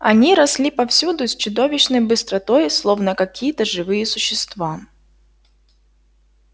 они росли повсюду с чудовищной быстротой словно какие то живые существа